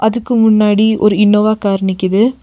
இதுக்கு முன்னாடி ஒரு இன்னோவா கார் நிக்கிது.